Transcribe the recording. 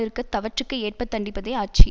இருக்க தவற்றுக்கு ஏற்பத் தண்டிப்பதே ஆட்சி